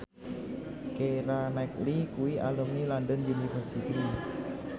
Keira Knightley kuwi alumni London University